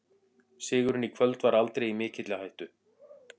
Sigurinn í kvöld var aldrei í mikilli hættu.